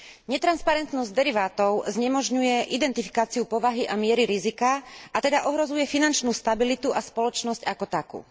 Netransparentnosť derivátov znemožňuje identifikáciu povahy a miery rizika, a teda ohrozuje finančnú stabilitu a spoločnosť ako takú.